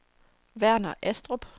Verner Astrup